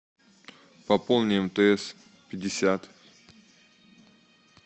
пополни мтс пятьдесят